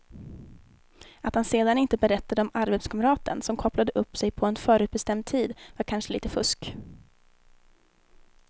Att han sedan inte berättade om arbetskamraten som kopplade upp sig på en förutbestämd tid var kanske lite fusk.